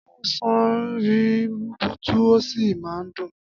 Ọ̀sán rí rubutu ó sì máa ń dùn.